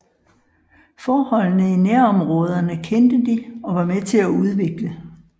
Forholdene i nærområderne kendte de og var med til at udvikle